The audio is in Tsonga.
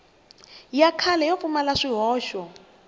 ya kahle yo pfumala swihoxo